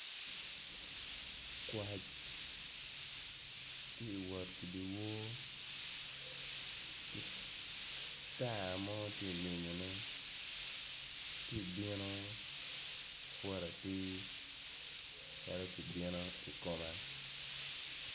Kwac tye ka wot i dyewor ki tara mo tye ka menyone tye ka bino woto atir calo tye kabino ikome.